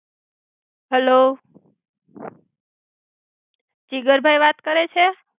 Hello, Jigar ભૌઇ વાત કરે છે?